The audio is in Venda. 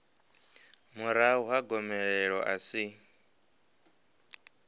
murahu ha gomelelo a si